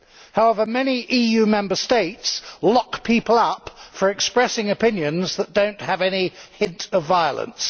However, many EU Member States lock people up for expressing opinions that do not have any hint of violence.